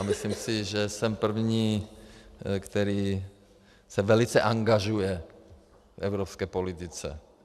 A myslím si, že jsem první, který se velice angažuje v evropské politice.